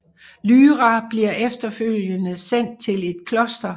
Lyra bliver efterfølgende sendt til et kloster